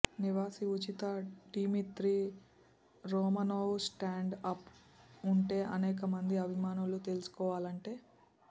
నివాసి ఉచిత Dmitri Romanov stand up ఉంటే అనేక మంది అభిమానులు తెలుసుకోవాలంటే